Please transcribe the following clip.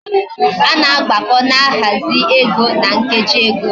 Ana agbako na ahazi ego na nkeji ego